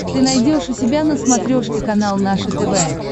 ты найдешь у себя на смотрешке канал наше тв